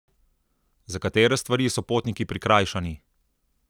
Za katere stvari so potniki prikrajšani?